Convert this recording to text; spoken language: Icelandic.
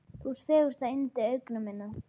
Þú ert fegursta yndi augna minna.